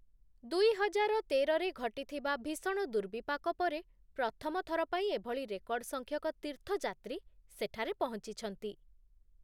ଦୁଇହଜାର ତେରରେ ଘଟିଥିବା ଭୀଷଣ ଦୁର୍ବିପାକ ପରେ ପ୍ରଥମଥର ପାଇଁ ଏଭଳି ରେକର୍ଡ଼ ସଂଖ୍ୟକ ତୀର୍ଥଯାତ୍ରୀ ସେଠାରେ ପହଂଚିଛନ୍ତି ।